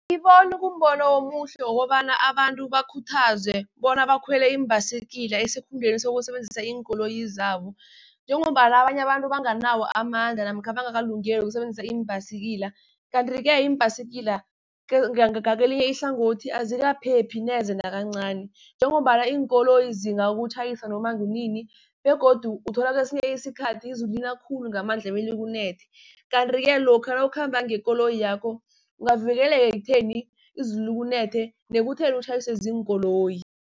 Angiboni kumbono omuhle wokobana abantu bakhuthazwe bona bakhwele iimbhayisikila, esikhundleni sokusebenzisa iinkoloyi zabo, njengombana abanye abantu abanganawo amandla namkha bangakalungeli ukusebenzisa iimbhayisikila. Kanti-ke iimbhayisikila ngakelinye ihlangothi azikaphephi neze nakancani, njengombana iinkoloyi zingakutjhayisa noma kunini, begodu uthola kesinye isikhathi izulu lina khulu ngamandla belikunethe. Kanti-ke lokha nawukhamba ngekoli yakho ungavikeleka ekutheni izulu likunethe, nekutheni utjhayiswe ziinkoloyi.